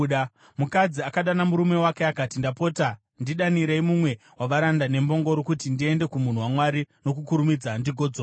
Mukadzi akadana murume wake akati, “Ndapota, ndidanire mumwe wavaranda nembongoro kuti ndiende kumunhu waMwari nokukurumidza ndigodzoka.”